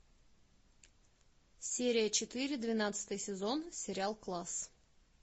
серия четыре двенадцатый сезон сериал класс